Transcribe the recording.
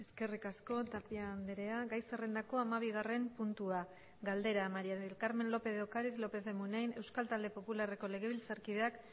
eskerrik asko tapia andrea gai zerrendako hamabigarren puntua galdera maría del carmen lópez de ocariz lópez de munain euskal talde popularreko legebiltzarkideak